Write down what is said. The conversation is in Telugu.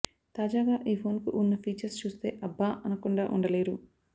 తాజాగా ఈ ఫోన్ కు ఉన్న ఫీచర్స్ చూస్తే అబ్బా అనకుండా ఉండలేరు